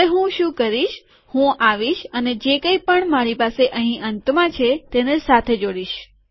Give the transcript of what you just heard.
હવે હું શું કરીશ કે હું આવીશ અને જે કઈ પણ મારી પાસે આના અંતમાં છે તેને સાથે જોડીશ